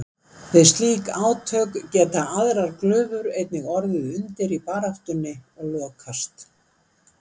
Við slík átök geta aðrar glufur einnig orðið undir í baráttunni og lokast.